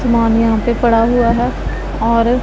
सामान यहां पे पड़ा हुआ है और--